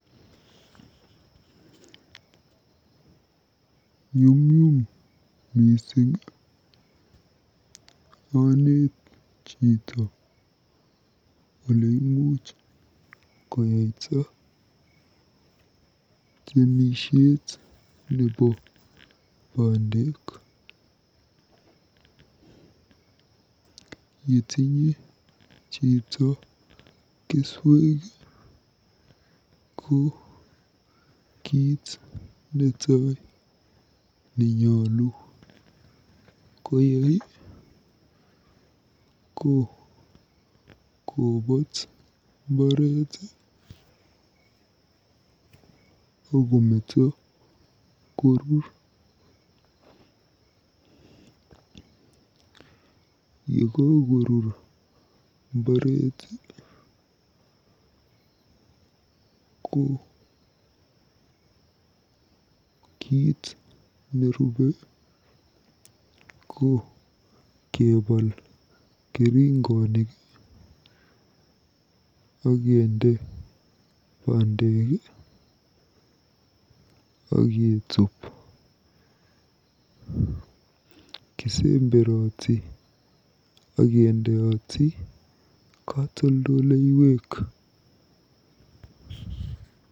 Nyumnyum mising aneet chito oleimuch koyaita nebo bandek. Yetinye chito keswek ko kiit netai nenyolu koyai ko kobaat mbaret akometo koru. Yekakorur mbaret ko kiit nerubei ko kebaal keringonik akende bandek aketuup. Kisemberoti akendoi katoldeleiwek.